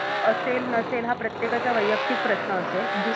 असेल नसेल हा प्रतेकाचा वैयक्तिक प्रश्न असेल,